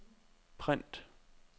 print